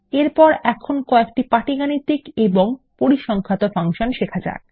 এরপর এখন কয়েকটি পাটিগাণিতিক এবং পরিসংখ্যাত ফাংশন শেখা যাক